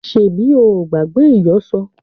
Ṣebí o ò gbàgbé ìyọ̀ṣo?